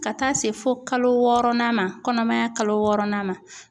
Ka taa se fo kalo wɔɔrɔnan ma kɔnɔmaya kalo wɔɔrɔnan ma.